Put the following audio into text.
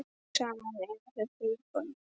Saman eiga þau þrjú börn.